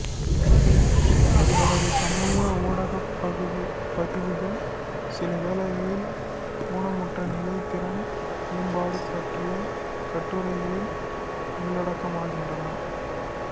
இவரது சமூக ஊடகப் பதிவுகள் சிலவேளைகலில் ஊனமுற்றநிலை திறன் மேம்பாடு பற்றிய கட்டுரைகளில் உள்ளடக்கமாகின்றன